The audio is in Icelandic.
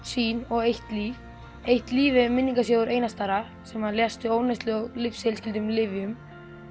sýn og eitt líf eitt líf er minningarsjóður Einars Darra sem lést vegna ofneyslu af lyfjum